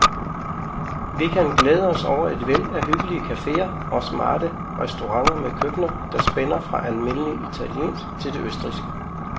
Vi kan glæde os over et væld af hyggelige caféer og smarte restauranter med køkkener, der spænder fra almindelig italiensk til det østrigske.